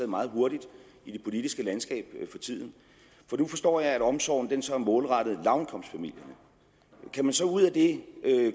meget hurtigt i det politiske landskab for tiden nu forstår jeg at omsorgen så er målrettet lavindkomstfamilierne kan man så ud af det